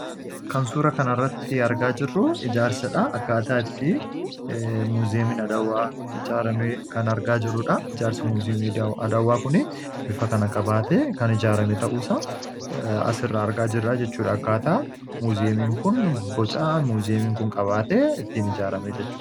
Kan suuraa kan irratti argaa jirru, ijaarsadha. Akkaataa itti muuzeemiin Adawwaa ijaarame kan argaa jirrudha. Ijaarsa muuzeemii Adawwaa kun bifa kan qabaate kan ijaarame ta'uusa as irra argaa jirraa jechudha. Akkaataa muuzeeemiin kun, boca muuzeemiin kun qabaate ittiin ijaarame jechudha.